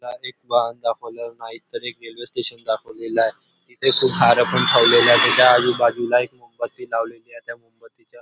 एक वाहन दाखवलेला नाही तरी तर एक रेल्वे स्टेशन दाखवलेल आहे तिथ त्याच्या आजूबाजूला मोमबत्ती लावलेली आहे त्या मोमबत्तीच्या--